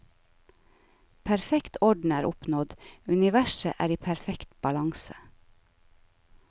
Perfekt orden er oppnådd, universet er i perfekt balanse.